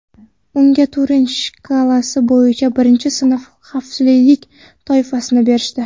Unga Turin shkalasi bo‘yicha birinchi sinf xavflilik toifasini berishdi.